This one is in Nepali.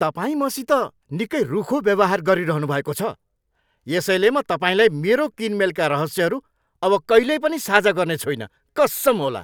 तपाईँ मसित निकै रूखो व्यवहार गरिरहनु भएको छ यसैले म तपाईँलाई मेरो किनमेलका रहस्यहरू अब कहिल्यै पनि साझा गर्ने छुइन, कस्सम होला।